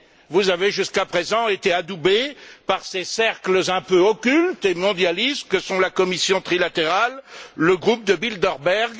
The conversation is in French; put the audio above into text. Vous avez jusqu'à présent été adoubé par ces cercles un peu occultes et mondialistes que sont la commission trilatérale, le groupe de Bilderberg.